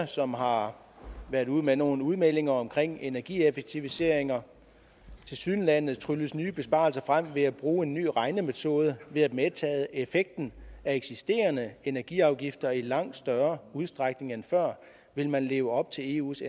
som har været ude med nogle udmeldinger omkring energieffektiviseringer tilsyneladende trylles nye besparelser frem ved at bruge en ny regnemetode ved at medtage effekten af eksisterende energiafgifter i langt større udstrækning end før vil man leve op til eus